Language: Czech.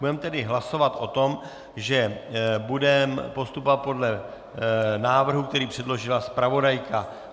Budeme tedy hlasovat o tom, že budeme postupovat podle návrhu, který předložila zpravodajka.